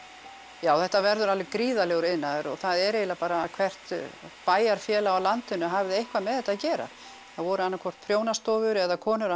já þetta verður alveg gríðarlegur iðnaður og það er eiginlega bara hvert bæjarfélag á landinu hafði eitthvað með þetta að gera það voru annað hvort prjónastofur eða konur að